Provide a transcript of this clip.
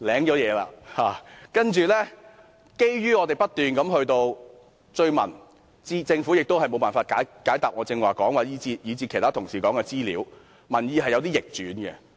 但是，後來情況逆轉，基於我們不斷追問，政府亦無法解答我以至其他同事提問的資料，民意便有所逆轉。